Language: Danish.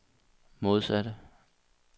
modsatte